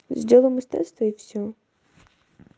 сделаем из теста и всё